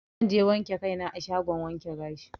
Zanje wanke kai na a shagon wanke gashi.